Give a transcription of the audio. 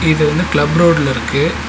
இது வந்து கிளப் ரோட்ல இருக்கு.